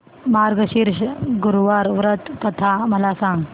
मार्गशीर्ष गुरुवार व्रत कथा मला सांग